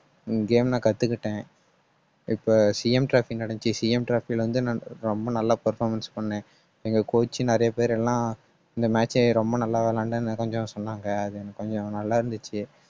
game நான் கத்துக்கிட்டேன். இப்ப CM traffic நடந்துச்சு CM traffic ல வந்து, நான் ரொம்ப நல்லா performance பண்ணேன். எங்க coach நிறைய பேர் எல்லாம் இந்த match ஏ ரொம்ப நல்லா விளையாண்டா நிறைய சொன்னாங்க. அது எனக்கு கொஞ்சம் நல்லா இருந்துச்சு